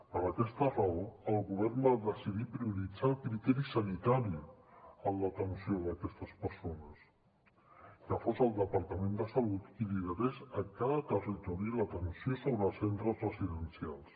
per aquesta raó el govern va decidir prioritzar el criteri sanitari en l’atenció d’aquestes persones que fos el departament de salut qui liderés a cada territori l’atenció sobre els centres residencials